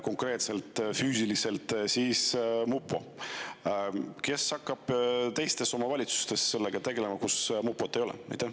Aga kes hakkab sellega tegelema teistes omavalitsustes, kus mupot ei ole?